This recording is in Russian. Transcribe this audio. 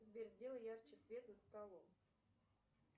сбер сделай ярче свет над столом